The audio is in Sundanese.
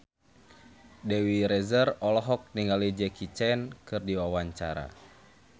Dewi Rezer olohok ningali Jackie Chan keur diwawancara